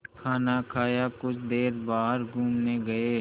खाना खाया कुछ देर बाहर घूमने गए